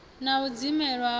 na u dzimelwa ha u